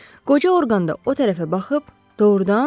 Qoca Orqan da o tərəfə baxıb: “Doğrudan?”